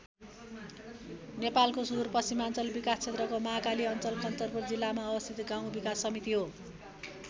नेपालको सुदूरपश्चिमाञ्चल विकास क्षेत्रको महाकाली अञ्चल कञ्चनपुर जिल्लामा अवस्थित गाउँ विकास समिति हो।